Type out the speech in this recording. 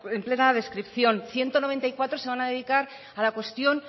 en plena descripción ciento noventa y cuatro se van a dedicar a la cuestión